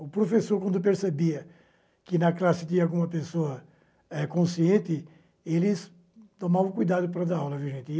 O professor, quando percebia que na classe tinha alguma pessoa eh consciente, eles tomavam cuidado para dar aula viu gente.